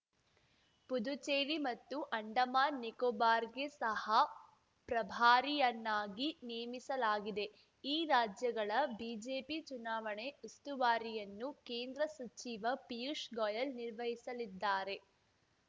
ಪುದುಚೇರಿ ಮತ್ತು ಅಂಡಮಾನ್‌ ನಿಕೋಬಾರ್‌ಗೆ ಸಹ ಪ್ರಭಾರಿಯನ್ನಾಗಿ ನೇಮಿಸಲಾಗಿದೆ ಈ ರಾಜ್ಯಗಳ ಬಿಜೆಪಿ ಚುನಾವಣೆ ಉಸ್ತುವಾರಿಯನ್ನು ಕೇಂದ್ರ ಸಚಿವ ಪಿಯೂಷ್‌ ಗೊಯೆಲ್ ನಿರ್ವಹಿಸಲಿದ್ದಾರೆ